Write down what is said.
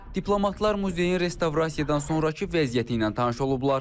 Diplomatlar muzeyin restavrasiyadan sonrakı vəziyyəti ilə tanış olublar.